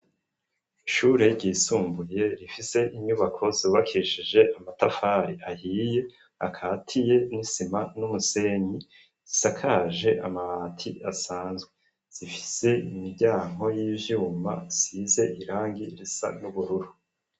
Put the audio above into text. Ishure ryisumbuye rifise inyubako zubakishije amatafari ahiye akatiye n'isima n'umusenyi zisakaje amabati asanzwe zifise imiryango y'ivyuma zisize irangi risa n'ubururu.